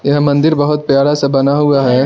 यह मंदिर बहुत प्यारा सा बना हुआ है।